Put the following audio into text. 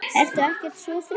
Ertu ekkert svo þreytt?